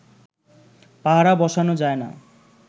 পাহারা বসানো যায় না